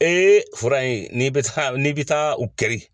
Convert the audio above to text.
Ee fura in ni be taa n'i be taa u kari.